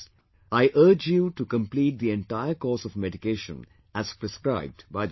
I urge you to complete the entire course of medication as prescribed by the doctor